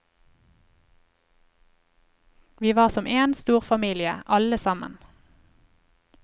Vi var som én stor familie, alle sammen.